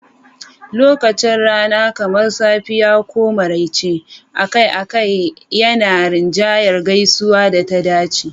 Lokacin rana, kamar safiya ko maraice, akai-akai yana rinjayar gaisuwar da ta dace.